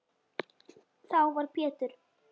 Þá var Pétur